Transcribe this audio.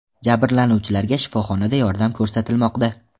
Jabrlanuvchilarga shifoxonada yordam ko‘rsatilmoqda.